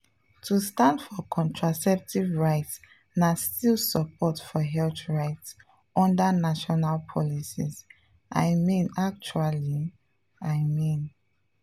to stand for contraceptive rights na still support for health rights under national policies — i mean actually… i mean.